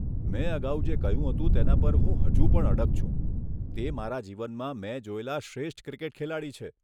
મેં અગાઉ જે કહ્યું હતું તેના પર હું હજુ પણ અડગ છું, તે મારા જીવનમાં મેં જોયેલા શ્રેષ્ઠ ક્રિકેટ ખેલાડી છે.